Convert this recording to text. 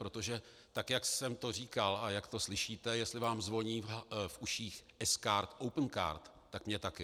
Protože tak jak jsem to říkal a jak to slyšíte, jestli vám zvoní v uších, sKarta, Opencard, tak mně taky.